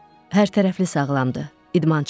Hərtərəfli sağlamdır, idmançıdır.